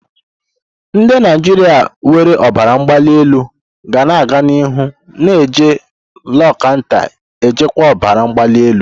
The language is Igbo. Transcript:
Ndị Naijiria nwere ọbara mgbali elu ga-aga n'ihu na-eji lozatanu ejikwa ọbara mgbali elu.